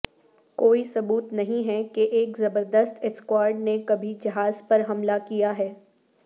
کوئی ثبوت نہیں ہے کہ ایک زبردست اسکواڈ نے کبھی جہاز پر حملہ کیا ہے